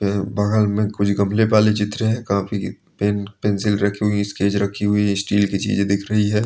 वह बगल में कुछ गमले वाली चित्र है कॉपी पेन पेन्सिल रखी हुई है स्केच रखी हुई है स्टील की चीजें दिख रही है।